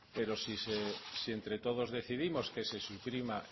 pero si entre todos decidimos que se suprima